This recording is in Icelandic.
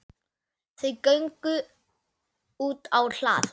Þau gengu útá hlað.